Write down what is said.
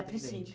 Atendente.